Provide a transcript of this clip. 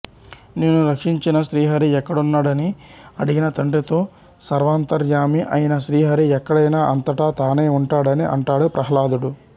నిన్ను రక్షించిన శ్రీహరి ఎక్కడున్నడని అడిగిన తండ్రితో సర్వాంతర్యామి అయిన శ్రీహరి ఎక్కడైనా అంతటా తానై ఉంటాడని అంటాడు ప్రహ్లాదుడు